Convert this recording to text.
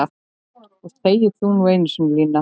Og þegi þú nú einu sinni Lína!